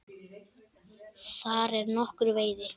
Þar er nokkur veiði.